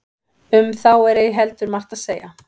um þá er ei heldur margt að segja